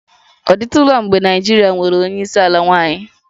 Ọ dịtụla mgbe Naịjirịa nwere onye isi ala nwanyị?